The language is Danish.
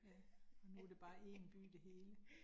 Ja, og nu det bare én by det hele